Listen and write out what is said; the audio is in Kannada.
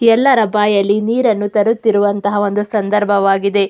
ಎಲ್ಲರ ಬಾಯಲ್ಲಿ ನೀರನ್ನು ತರುತ್ತಿರುವಂಥಹ ಒಂದು ಸಂದರ್ಭವಾಗಿದೆ.